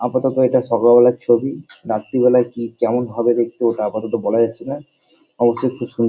আপাতত এটা সকাল বেলার ছবি। রাত্তির বেলা কি কেমন হবে দেখতে আপাতত বলা যাচ্ছে না অবশ্যই খুব সুন্--